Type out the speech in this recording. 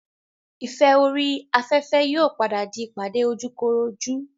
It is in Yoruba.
ìfẹ́ orí afẹ́fẹ́ yóò padà di ìpàdé ojúkorojú